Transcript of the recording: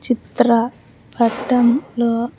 చిత్ర పట్టంలో.